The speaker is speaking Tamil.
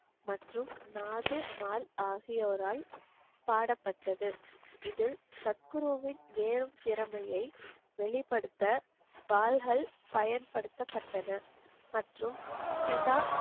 மற்றும் நாது மால் ஆகியோரால் பாடப்பட்டது. இதில் சத்குருவின் நேரம் திறமையை வெளிப்படுத்த வாள்கள் பயன்படுத்தப்பட்டன. மற்றும் சிதா,